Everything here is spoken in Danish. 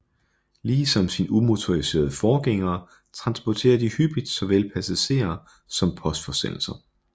Ligesom sine umotoriserede forgængere transporterer de hyppigt såvel passagerer som postforsendelser